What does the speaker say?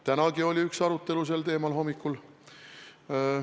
Tänagi oli üks arutelu hommikul.